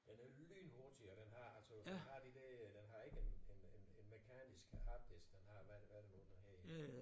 Den er lynhurtig og den har altså den har de der den har ikke en en en mekanisk harddisk den har hvad det hvad er det nu det hedder